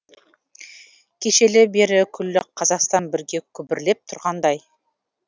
кешелі бері күллі қазақстан бірге күбірлеп тұрғандай